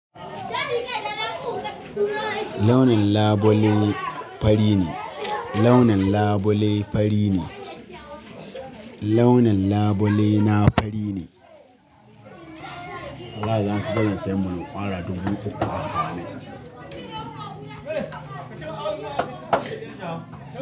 Launin labule fari ne, launin labule fari ne. Launin labule na fari ne. Wallahi za su bari na siya bulo kwara dubu uku a hannun.